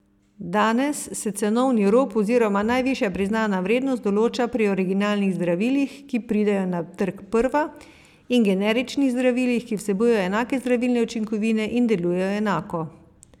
Danes se cenovni rob oziroma najvišja priznana vrednost določa pri originalnih zdravilih, ki pridejo na trg prva, in generičnih zdravilih, ki vsebujejo enake zdravilne učinkovine in delujejo enako.